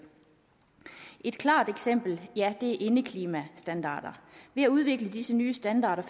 et klart eksempel er indeklimastandarder ved at udvikle disse nye standarder